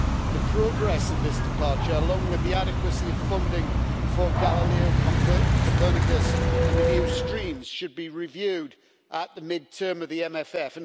The progress of this departure, along with the adequacy of funding for Galileo, Copernicus and the new streams, should be reviewed at the mid term of the MFF.